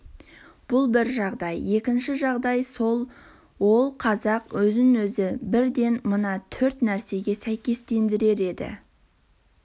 бұл бір жағдай екінші жағдай сол ол қазақ өзін-өзі бірден мына төрт нәрсеге сәйкестендірер еді